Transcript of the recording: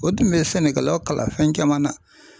O tun bɛ sɛnɛkɛlaw kala fɛn caman na.